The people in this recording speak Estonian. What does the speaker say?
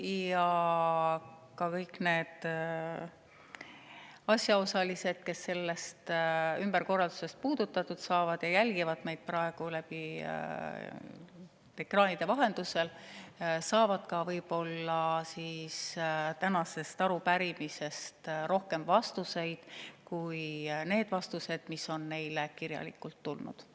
Ja ka kõik need asjaosalised, keda see ümberkorraldus puudutab ja kes jälgivad meid praegu ekraanide vahendusel, saavad võib-olla tänasest arupärimisest rohkem vastuseid kui need vastused, mis on neile kirjalikult tulnud.